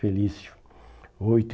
Felício.